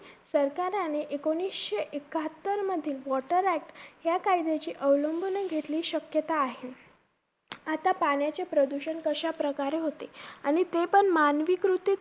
सरकाराने एकोणिसशे एकाहत्तर मधील water act या कायदयाची अवलंबन घेतली शक्यता आहे. आता पाण्याचे प्रदूषण कशाप्रकारे होते? आणि ते पण मानवी कृतीत